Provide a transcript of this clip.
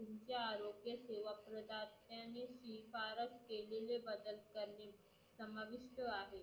तुमचे आरोग्य सेवाकृतज्ञानी शिफारस केलेले बदल त्यांनी समानयुक्त आहे.